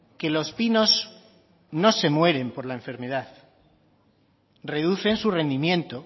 que los pinos no se mueren por la enfermedad reducen su rendimiento